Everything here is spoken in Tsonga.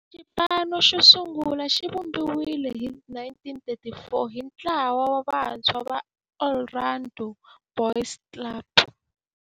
Xipano xosungula xivumbiwile hi 1934 hi ntlawa wa vantshwa va Orlando Boys Club.